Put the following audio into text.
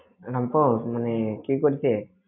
রামপুর মানে কি করতে?